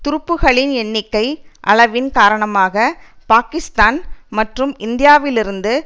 துருப்புக்களின் எண்ணிக்கை அளவின் காரணமாக பாகிஸ்தான் மற்றும் இந்தியாவிலிருந்து